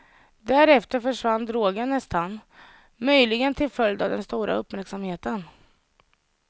Därefter försvann drogen nästan, möjligen till följd av den stora uppmärksamheten.